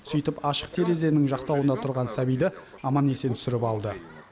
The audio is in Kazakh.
сөйтіп ашық терезенің жақтауында тұрған сәбиді аман есен түсіріп алды